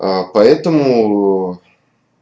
ээ поэтому